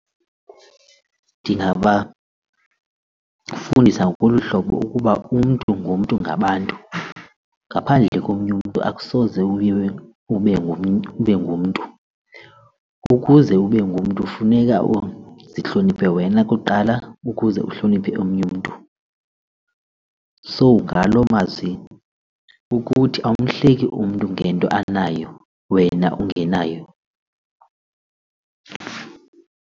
Ndingabafundisa ngolu hlobo ukuba umntu ngumntu ngabantu, ngaphandle komnye umntu akusoze uye ube ngumntu. Ukuze ube ngumntu funeka uzihloniphe wena kuqala ukuze uhloniphe omnye mntu. So ngaloo mazwi kukuthi awumhleki umntu ngento anayo wena ungenayo.